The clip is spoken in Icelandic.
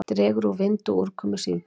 Dregur úr vindi og úrkomu síðdegis